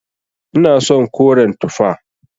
Ina son koren tufa.